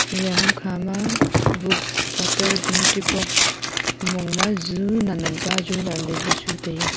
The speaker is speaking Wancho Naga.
eya ham khama books katar jomoti box mongma ju nan nan ka ju tai aa.